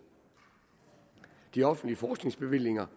de offentlige forskningsbevillinger